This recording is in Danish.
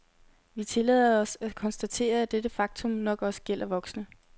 Vi tillader os at konstatere, at dette faktum nok også gælder voksne.